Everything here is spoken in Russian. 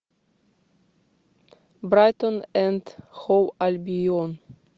брайтон энд хоув альбион